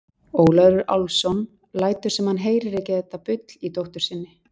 Ólafur Álfsson lætur sem hann heyri ekki þetta bull í dóttur sinni.